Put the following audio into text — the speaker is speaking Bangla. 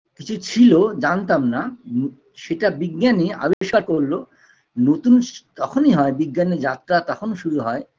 কিছু ছিল জানতাম না সেটা বিজ্ঞানী আবিষ্কার করলো নতুন স তখনই হয় বিজ্ঞানের যাত্রা তখন শুরু হয়